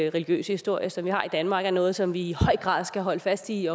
og religiøse historie som vi har i danmark er noget som vi i høj grad skal holde fast i